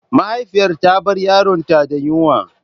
Mahaifiyar ta bar yaronta da yunwa.